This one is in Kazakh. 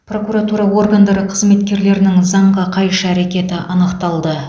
прокуратура органдары қызметкерлерінің заңға қайшы әрекеті анықталды